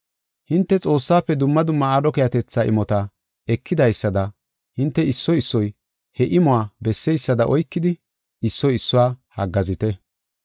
Hinte Xoossaafe dumma dumma aadho keehatetha imota ekidaysada hinte issoy issoy he imuwa bessiyada oykidi issoy issuwa haggaazite.